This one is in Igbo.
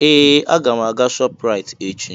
Ee! Aga m aga Shoprite echi.